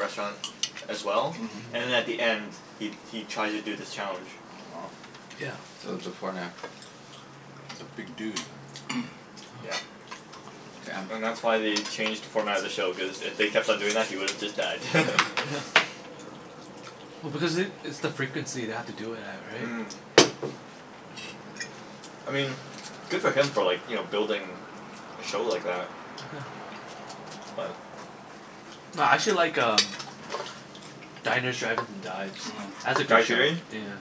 restaurant as well. Mhm. And at the end he he tries to do this challenge. Wow. Yeah. So, before and after. That's a big dude. Yeah. Damn. And that's why they changed the format of the show, cuz if they kept on doing that he would have just died. Oh because it, it's the frequency they have to do it at, right? Mm. I mean good for him for like, you know, building a show like that. But No, I actually like um Diners, drive-ins, and Dives. Mm. That's a Guy good show. Sheerian?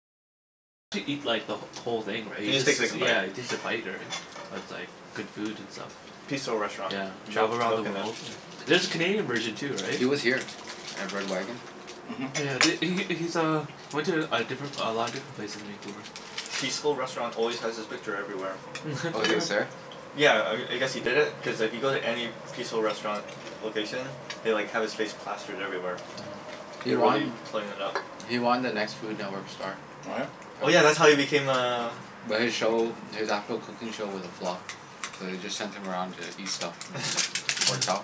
Yeah, he takes a bite or, right? But it's like good food and stuff. Peaceful Restaurant. Yeah. Milk Travel around milk the in it. world Yeah. There's a Canadian version too, right? He was here at Red Wagon. Oh Mhm. yeah, th- he Yeah. he's uh he went to a different a lot of different places in Vancouver. Peaceful Restaurant always has his picture everywhere. Oh, It's he like, was there? yeah, I I guess he did it cuz if you go to any Peaceful Restaurant location they like have his face plastered everywhere. Mhm. He They're won really playing it up. he won The Next Food Network Star. What? Oh yeah, that's Yeah. how he became a But his show, his actual cooking show was a flop. So they just sent him around to eat stuff and it worked Yeah. out.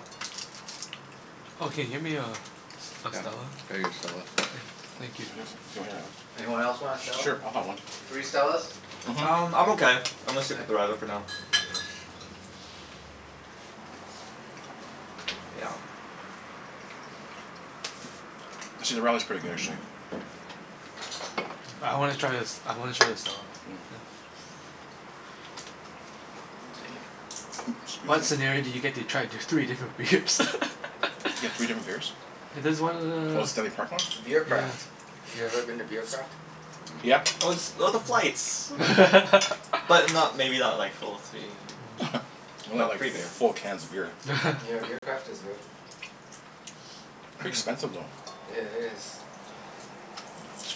Yeah, Oh, I'll can you get get me a a Stella? you a Stella. Yeah, thank you. Anyone else want a S- Stella? sure, I'll have one. Three Stellas? Mhm. Um, I'm okay. I'm gonna stick Okay. with the radler for now. Yeah. Actually, the radler's pretty good actually. I wanna try this, I wanna try the Stella. Yeah. Mm. Ooh, What excuse me. scenario do you get to try d- You three different beers? get three different beers? There's one Oh, the uh Stanley Park one? Beer Mhm. Yeah, yeah. Craft. You ever been to Beer Craft? Yeah. Oh it's oh the Mm. flights. Mm. But not, maybe not like full three here. Mm. Not Not like, free beer. full cans of beer. Yeah, Beer Craft is good. Pretty expensive, though. It is.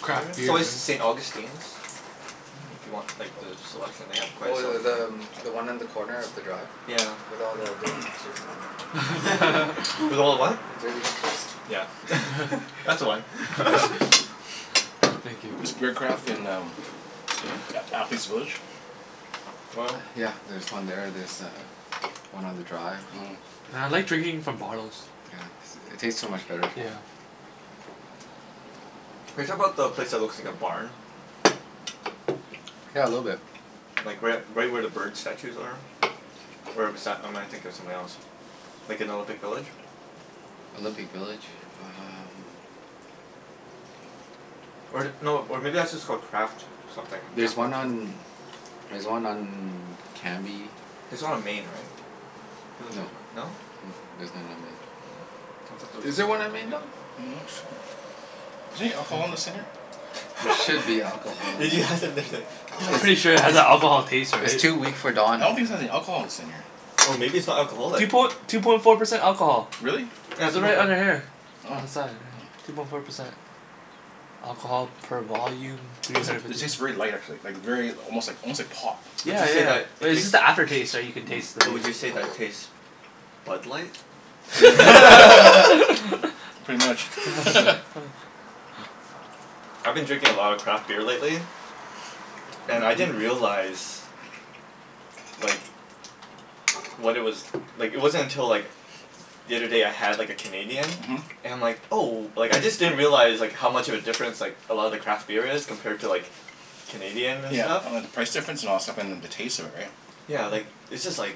It's craft It's beer, right? always the St. Augustine's. Mm if you want like Oop. the selection. They have quite Oh, a th- selection the too. um one on the corner of the Drive? Yeah. With all the dirty hipsters, there? With all the what? The dirty hipsters. Yeah. That's the one. I thank you. Is Beer Craft in um A- Athlete's Village? Oil? Yeah, there's one there. There's uh one on the Drive. Mhm. Yeah, I like drinking from bottles. Yeah, s- it tastes so much better. Yeah. Are you talking 'bout the place that looks like a barn? Yeah, a little bit. Like right u- right where the bird statues are? Where bes- or am I thinking of something else? Like in Olympic Village? Olympic Village? Um Or th- no, or maybe that's just called Craft something. There's Craft house one or on, there's one on Cambie. There's one on Main, right? Feel like there's No. one, no? N- I'm there's none on not Main. Oh, I thought there sure. was Is a Is there there one Craft on on Main, Don? Main. any alcohol in this thing here? There should be alcohol in Did you ask if that. there's any I'm It's pretty sure it has that alcohol taste, it's right? it's too weak for I Don. don't think there's any alcohol in this thing here. Oh, maybe it's not Two alcoholic? poin- two point four percent alcohol. Really? Yeah, two They're point right four. under here. Oh. Oh. On the side, yeah. Two point four percent. Alcohol per volume, three Those are, hundred it fifty tastes very light actually. Like very almost like almost like pop. Would Yeah, you say that yeah. But it it's tastes just the after taste, right, you can taste Mm. the but beer. would you say that tastes Bud Light? Yeah. Pretty much. I've been drinking a lot of craft beer lately. And I didn't realize like what it was, like it wasn't until like the other day I had like a Canadian Mhm. and I'm like, oh, like I just didn't realize like how much of a difference like a lot of the craft beer is compared to like Canadian and Yeah, stuff. oh and the price difference and all that stuff, and then the taste of it, right? Yeah, like it's just like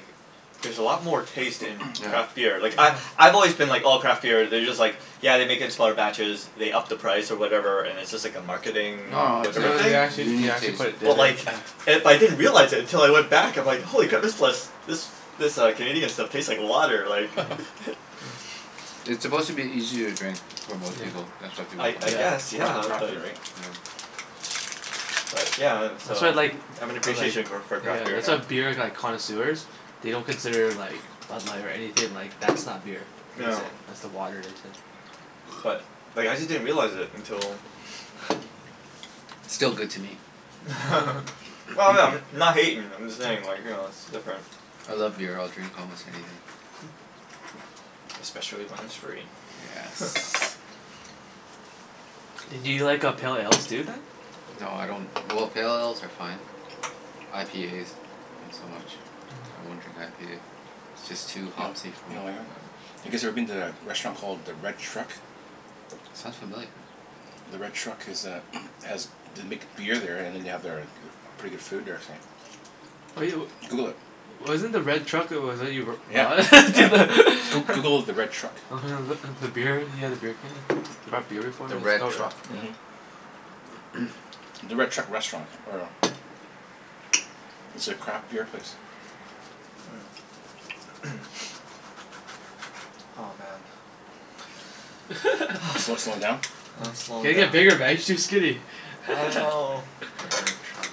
there's a lot more taste in Yeah. craft beer. Like I Mhm. I've always been like oh, craft beer, they're just like yeah they make it in smaller batches, they up the price or whatever, and it's just like a Mm. marketing No no, it's No whatever th- thing. they a actually they unique actually taste. put it d- But d- like yeah. it, but I didn't realize it until I went back I'm like, Mhm. holy crap, this lis- this this uh Canadian stuff tastes like water, like Yeah, yeah. It's Cra- supposed to be easier to drink for most Yeah. people, that's why people I I mo- guess, Yeah. yeah, craft but beer, right? Yeah. but yeah and That's so why I like I have an I like appreciation go- for Yeah, craft beer that's why now. beer like connoisseurs they don't consider like Bud Light or anything, like that's not beer. That's Yeah. it, that's the water they say. But like I just didn't realize it until Still good to me. Well no, I'm not hatin', I'm just saying like, you know, it's different. I love beer. I'll drink almost anything. Especially when it's free. Yes. Do you like uh pale ales too, then? No, I don't, well, pale ales are fine. IPAs not so much. I Mm. won't drink IPA. Just Yeah. You too kn- hopsy for me. w- Mm. you guys ever Yeah. been to a restaurant called the Red Truck? Sounds familiar. The Red Truck is uh has, they make beer there and then they have their pretty good food they were saying. What do yo- Google it. Wasn't the Red Truck Yeah. Yeah. Goo- Google the Red Truck. Mhm. beer, you had a beer can? You brought beer before The and it was Red no- Truck? yeah. The Red Truck Restaurant or It's a craft beer place. Mm. Oh man. Slo- slowing down? I'm You slowin' gotta down. get bigger man. You're too skinny. I know. The Red Truck.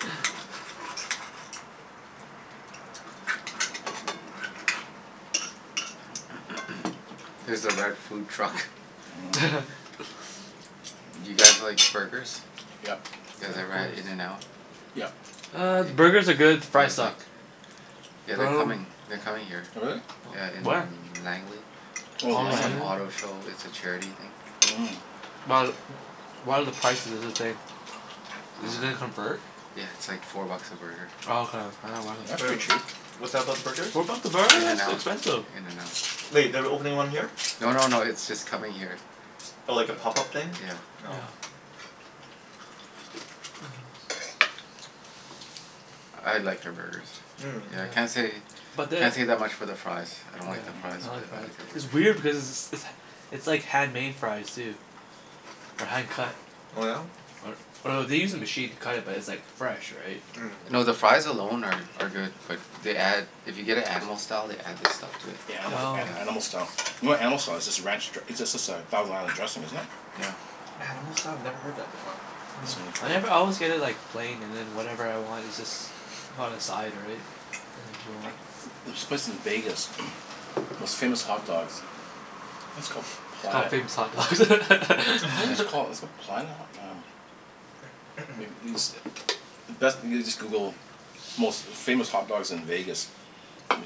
Here's the Red Food Truck. Mm. Do you guys like burgers? Yep. You Yeah, guys of ever had course. In and Out? Yep. Uh, the burgers are good. The You fries guys like suck. Oh Yeah, But I they're dunno coming, they're coming here. really? Yeah, in Where? Langley. To Oh, Oh, some Langley. auto Langley? show. It's a charity thing. But, what are the prices is this day? Uh, Is it gonna Mm. convert? yeah, it's like four bucks a burger. Oh, okay. Yeah, I wasn't. That's Wait, pretty cheap. what's that about the burgers? What about the burgers? In and That's Out. expensive. In and Out. Wait, they're opening one here? No no no, it's just coming here. Oh, like a pop-up thing? Yeah. Oh. Yeah. I liked their burgers. Yeah, Yeah. can't say But the can't say that much for their fries. I don't Yeah, like their Mhm. fries, I don't like but the I like Mm. fries. their It's burgers. weird because it's it's it's it's like handmade fries, too. Or hand cut. Oh yeah? Or or they use a machine to cut it but it's like fresh, right? Mm. No, the fries alone are are good but they add, if you get it Animal Style they add this stuff to it. Yeah, anima- Oh. a- animal Yeah. style. You know what animal style is? It's just a ranch dr- it's just a thousand island dressing, isn't it? Yeah. Animal style? Never heard that before. Oh. I never always get it like plain and then whatever I want is just on the side, right? There's this place in Vegas most famous hot dogs. I think it's called It's called Planet Famous Hot Dogs. What was it called? It's called Planet Ho- um like these, best, you just Google most famous hot dogs in Vegas.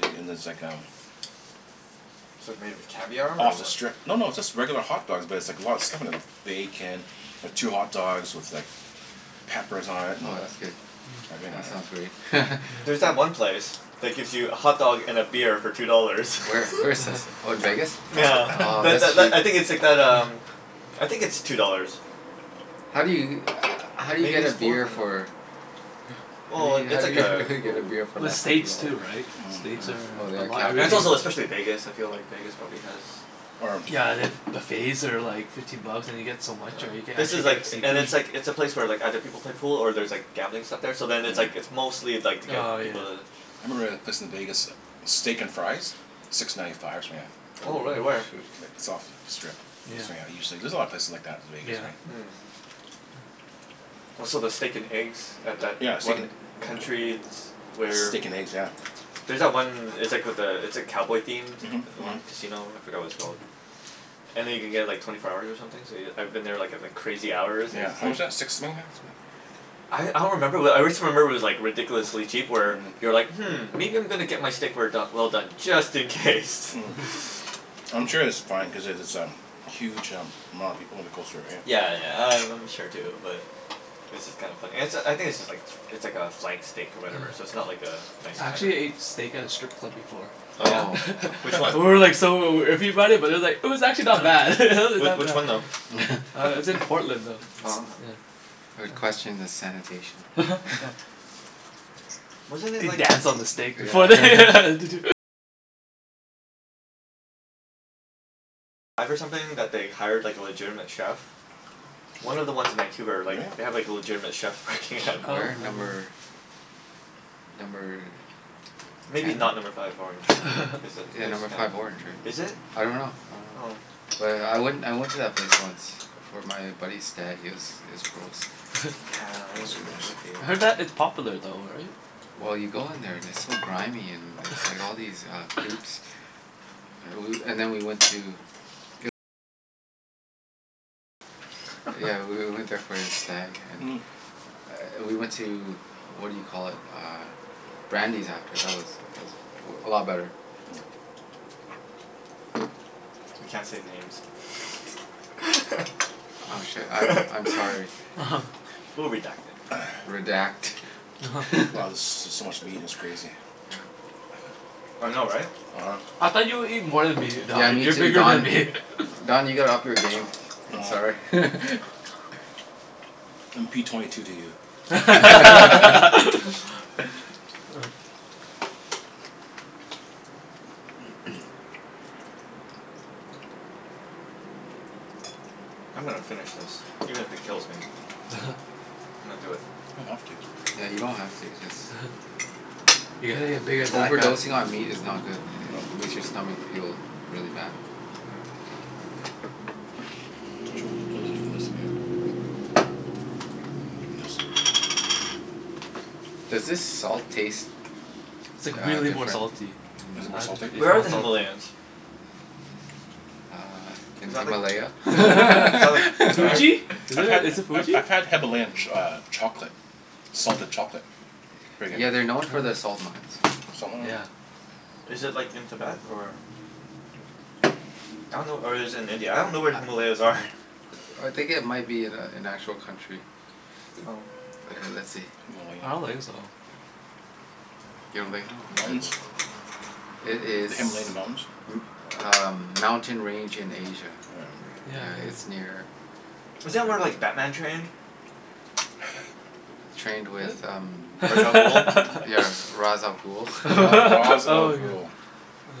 Me- and there's like um It's like made of caviar, or Off the what? strip. No, no, it's just regular hot dogs but it's like a lot of stuff on them. Bacon. Two hot dogs with like peppers on it and Oh, that's good. Mm. everything Yeah, on that sounds it. great. There's that Yeah. Mm. one place that gives you a hotdog and a beer for two dollars. Where? Where is this? Oh, in Vegas? Nyeah. Oh, Tha- tha- that's l- I sweet. think it's like that um I think it's two dollars. How do you, how do you Maybe get a it's four now. beer for Well i- how it's do like you, how a do you get a goo- beer for Well, less than two States too, dollars? right? States Mm. Oh, oh are a yeah, lot Right. And it's everything capital also especially Vegas, I feel like Vegas probably has Or Yeah, and then buffets are like fifteen bucks and you get so much, Yeah. right? You can This actually is like get and seafood. it's like, it's a place where like other people play pool or there's like gambling stuff there so then it's like Mm. it's mostly like to get Oh, yeah. people to I remember a place in Vegas, Steak and Fries? Six ninety five or something like that. Oh Oh, really? Where? shoot. Like, it's off of the strip. Yeah. There's a lot of places like that in Vegas, right? Yeah. Mm. Oh, so the steak and eggs at that Yeah, steak and one country s- where Steak and eggs, yeah. There's that one, it's like with the, it's like cowboy themed? Mhm. The Mhm. one casino? I forgot what it's called. Mm. And then you can get like twenty four hours or something so y- I've been there like at like crazy hours and Yeah, it's just how like much that? Six swing that? I I don't remember, but I wrist remember it was like ridiculously cheap where Mhm. you're like "Hmm, maybe I'm gonna get my steak rare do- well done just in case." Mm. I'm sure it's fine cuz it it's a huge um amount of people in the coastal area. Yeah, yeah, I I'm sure too but It's just kinda funny. And it's a, I think it's just like it's like a flank steak or whatever, so it's Mm. not like a nice I cut or actually anything. ate steak at a strip club before. Oh yeah? Oh. Which one? And we were like so iffy about it, but it's like it was actually not bad. W- Not which one bad. though? Uh it's in That's Portland though. Oh, huh. It's, yeah. I would Yeah. question the sanitation. Yeah. Wasn't it They like dance on the steak before they Yeah. One of the ones in Vancouver, like, they have Really? like a legitimate chef working at Oh. No. Where? Number number Maybe not Number ten? Five Orange cuz that Yeah, place is Number kinda, Five Orange, right? is it? I dunno. I dunno. Oh. But I went I went to that place once It for my buddy's stag. It was it was gross. Yeah, it would was gross. I heard be. that it's popular though, right? Well you go in there and it's so grimy, and there's like all these uh boobs. Ah woo- and then we went to Yeah, we w- went there for his stag and we went to, what do you call it? Uh Brandi's after. That was that was a lot better. We can't say names. Oh shit, I'm I'm sorry. We'll redact it. Redact. Wow, this is just so much meat it's crazy. Yeah. I know, right? uh-huh. I thought you would eat more than me, Yeah, Don. me You're too bigger than Don. me. Don, you gotta up your game. I'm sorry. Oh. I'm p twenty two to you. Oh. I'm gonna finish this even if it kills me. I'm gonna do it. You don't have to. Yeah, you don't have to. Just You gotta get big as that guy. Overdosing on meat is not good. I- No. it makes your stomach feel really bad. Mm. Does this salt taste It's like uh really more different? salty. Is it more I don- salty? it's Where are more the salty. Himalayans? Uh, Is in that like Himalaya? Is that like I had, Tibet? Fuji? Is I've it had is it I've Fuji? I've had Himalayan ch- uh chocolate. Salted chocolate. Pretty Yeah, good. they're known Oh. for their salt Salt mines. mm. Yeah. Is it like in Tibet, or I dunno or is it in India? I don't know where the Himalayas are. I think it might be an a- an actual country. Oh. Okay, let's see. I don't Himalayan. think so. You don't think so? M- Okay, mountains? let's see. It is The Himalayan Mountains? m- uh mountain range in Asia. Yeah, Yeah, yeah. it's near Mm. Isn't that where like Batman trained? Trained with um I- Ra's al Ghul. Yeah, Ra's al Ghul? Yeah. Ra- Ra's al Oh my god. Ghul.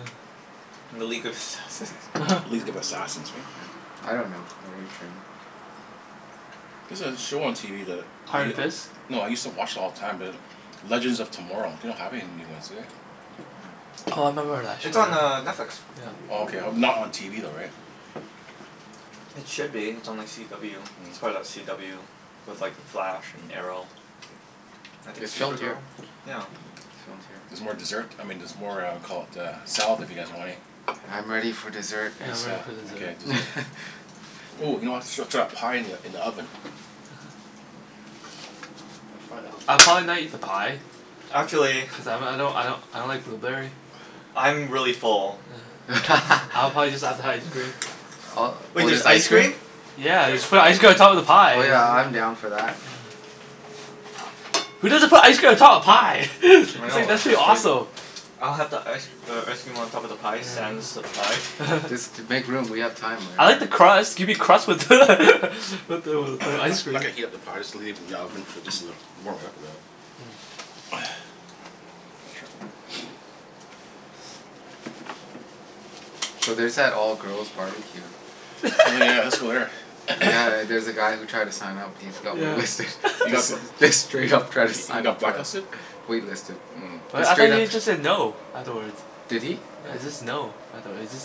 Ah. And the League of Assassins. League of Assassins, right? Yeah. I dunno where he trained. There's a show on TV that y- Iron Fist? no, I used to watch it all the time be like Legends of Tomorrow. They don't have any new ones, do they? Mm. Oh, I remember that It's on uh show. Netflix. Yeah. Oh, okay. Not on TV though, right? Mm. It should be. It's on like CW. It's part of that CW with like The Flash, and Arrow. I think It's it's filmed here. Supergirl? Yeah. It's filmed here. Mhm. There's more dessert, I mean there's more uh caul- uh, salad if you guys want any? I'm ready for dessert. Yeah, I I'm saw. ready for Okay, dessert. dessert. Ooh, you know I srut srut that pie in the in the oven. uh-oh. Find that I'll pie. probably not eat the pie. Huh? Actually Cuz I m- I don't I don't I don't like blueberry. I'm really full. Yeah. I'll probably just have the ice cream. Uh, Wait, or there's just ice ice cream? cream? Yeah. Yes Just put ice cream on top of the pie Oh is yeah, I'm down for that. Yeah, yeah. Who doesn't put ice cream on top of pie? I It's know, like that's that's pretty just crazy. awesome. I'll have the ice uh ice cream on top of the pie Yeah. sans Yeah. the pie. Just to make room. We have time, I right? like Mm. the crust. Gimme crust with with the with the I'm not ice cream. not gonna heat up the pie. Just leave it in the oven for just a little warm it up a bit. Mm. Oh yeah. Make sure So there's that all girls barbecue. Oh yeah, let's go there. Yeah, there's a guy who tried to sign up he's got wait listed. Yeah. He Just got bl- just straight up tried to he sign up got for blacklisted? that. Wait listed. Mm. Wait, Just I thought straight up he just said no afterwards? Did he? Yeah, it's just no, I thought it just